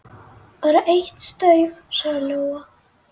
Bara eitt staup, sagði Lóa.